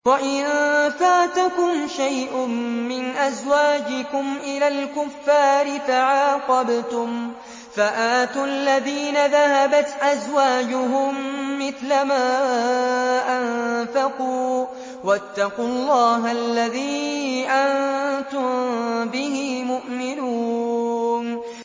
وَإِن فَاتَكُمْ شَيْءٌ مِّنْ أَزْوَاجِكُمْ إِلَى الْكُفَّارِ فَعَاقَبْتُمْ فَآتُوا الَّذِينَ ذَهَبَتْ أَزْوَاجُهُم مِّثْلَ مَا أَنفَقُوا ۚ وَاتَّقُوا اللَّهَ الَّذِي أَنتُم بِهِ مُؤْمِنُونَ